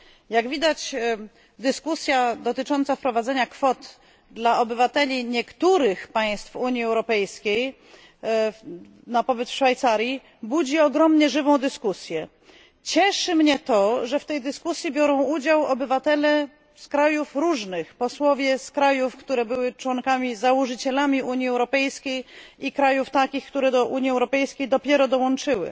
Jak widać, dyskusja dotycząca wprowadzenia kwot dla obywateli niektórych państw Unii Europejskiej na pobyt w Szwajcarii budzi ogromnie żywą dyskusję. Cieszy mnie to, że w tej dyskusji biorą udział obywatele z różnych krajów posłowie z krajów, które były członkami, założycielami Unii Europejskiej i krajów, które do Unii Europejskiej dopiero dołączyły.